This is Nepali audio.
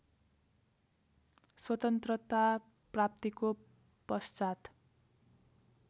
स्वतन्त्रता प्राप्तिको पश्चात्